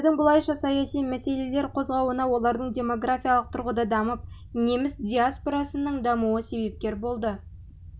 немістердің бұлайша саяси мәселелер қозғауына олардың демографиялық тұрғыда дамып неміс диаспорасының дамуы себепкер болды